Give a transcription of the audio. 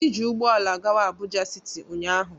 Anyị ji ụgbọala gawa Abuja city ụnyahụ.